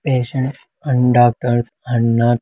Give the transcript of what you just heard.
patients and doctors and నర్--